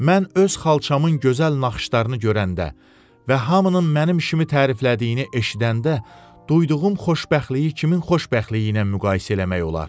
Mən öz xalçamın gözəl naxışlarını görəndə və hamının mənim işimi təriflədiyini eşidəndə duyduğum xoşbəxtliyi kimin xoşbəxtliyi ilə müqayisə eləmək olar?